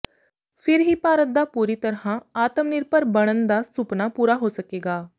ਫਿਰ ਹੀ ਭਾਰਤ ਦਾ ਪੂਰੀ ਤਰ੍ਹਾਂ ਆਤਮ ਨਿਰਭਰ ਬਣਨ ਦਾ ਸੁਪਨਾ ਪੂਰਾ ਹੋ ਸਕੇਗਾ